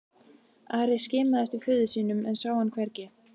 Ari skimaði eftir föður sínum en sá hann hvergi.